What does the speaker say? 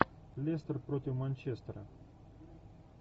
лестер против манчестера